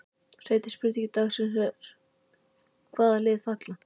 Seinni spurning dagsins er: Hvaða lið falla?